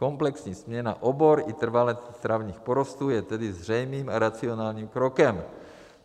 Komplexní směna obor i trvale travních porostů je tedy zřejmým a racionálním krokem.